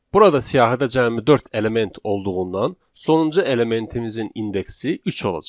Burada siyahidə cəmi dörd element olduğundan sonuncu elementimizin indeksi üç olacaq.